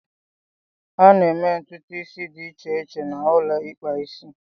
A na-eme ntutu isi dị iche iche na ulo ikpa isi.